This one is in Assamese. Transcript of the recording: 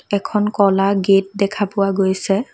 এখন ক'লা গেট দেখা পোৱা গৈছে।